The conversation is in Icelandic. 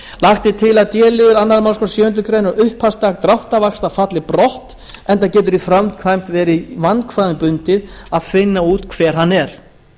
lagt er til að d liður annarri málsgrein sjöundu greinar um upphafsdag dráttarvaxta falli brott enda getur í framkvæmd verið vandkvæðum bundið að finna út hver hann er